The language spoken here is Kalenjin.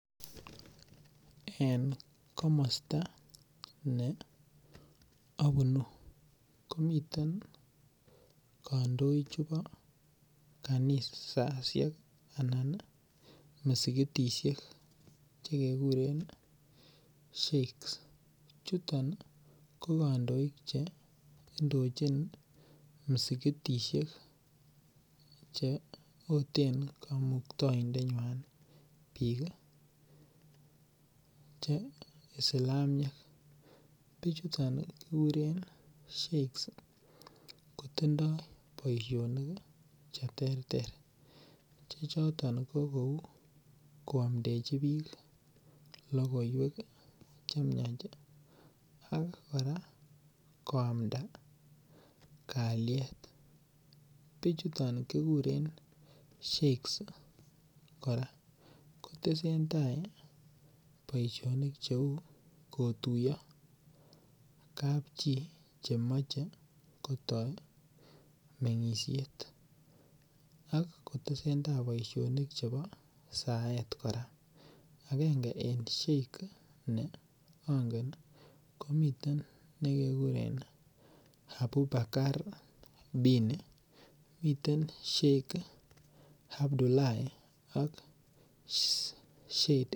En komosto ne obunu komiten kondoik chebo kanisoshek anan misikitishek chekekuren Sheiks chuton ko kondoik cheindochin misikitishek cheoten Kamukndoindenywan bik che Islamiek, bichuton kikuren Sheikhs ii kotindoo boisinik kou koomdechi bik logoiwek chemiach, ak koraa koamda kalyet, bichuton kikuren Sheikhs koraa kotesendaa boisinik cheu kotuyo kapchi chemoche kotoi mengishet , ak kotesendaa boisinik chebo saet agenge en Sheikhs neongen komiten nekekerin Abu Bakar dini, miten Sheikhs Abdulahii ok Sheikhs.